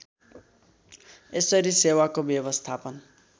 यसरी सेवाको व्यवस्थापन